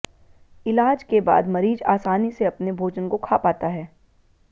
इलाज के बाद मरीज आसानी से अपने भोजन को खा पाता है